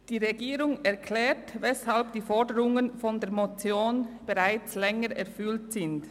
Die Regierung erklärt, weshalb die Forderungen der Motion bereits seit Längerem erfüllt sind.